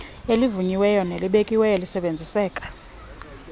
elivunyiweyo nelibekiweyo lisebenziseka